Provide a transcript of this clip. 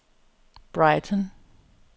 Brighton